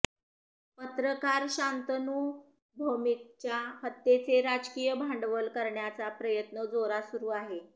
पत्रकार शांतनू भौमिकच्या हत्येचे राजकीय भांडवल करण्याचा प्रयत्न जोरात सुरू आहे